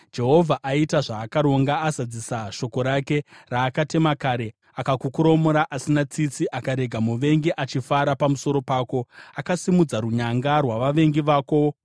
Jehovha aita zvaakaronga; azadzisa shoko rake, raakatema kare. Akakukoromora asina tsitsi, akarega muvengi achifara pamusoro pako, akasimudza runyanga rwavavengi vako.